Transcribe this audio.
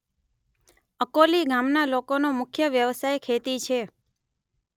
અકોલી ગામના લોકોનો મુખ્ય વ્યવસાય ખેતી છે